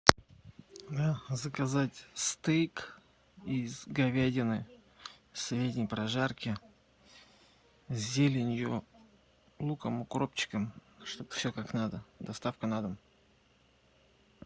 заказать стейк из говядины средней прожарки с зеленью с луком укропчиком чтоб все как надо доставка на дом